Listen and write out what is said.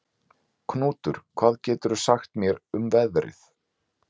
Knútur, hvað geturðu sagt mér um veðrið?